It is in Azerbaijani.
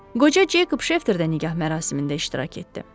Qoca Cekop Şefter də nikah mərasimində iştirak etdi.